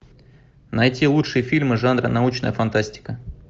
найти лучшие фильмы жанра научная фантастика